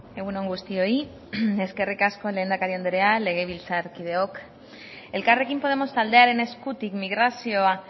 egun on guztioi eskerrik asko lehendakari andrea legebiltzarkideok elkarrekin podemos taldearen eskutik migrazioa